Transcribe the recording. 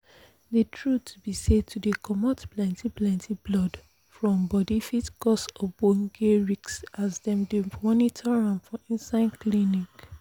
the truth be say to dey comot plenty plenty blood from body fit cause ogboge risks as dem dey monitor am for inside clinics